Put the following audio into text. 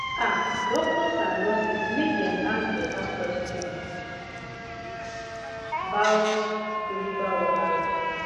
ah doctors and nurses make dem ask beta questions bout spiritual wahala